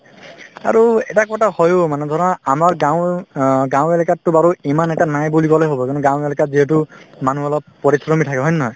আৰু এটা কথা হয়ো মানে ধৰা আমাৰ গাঁৱ অ গাঁৱ এলেকাততো বাৰু ইমান এটা নায়ে বুলি কলে হব কিয়নো গাঁৱ এলেকাত যিহেতু মানুহ অলপ পৰিশ্ৰমী থাকে হয় নে নহয়